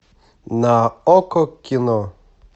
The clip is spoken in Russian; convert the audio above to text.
на окко кино